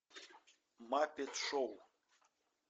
маппет шоу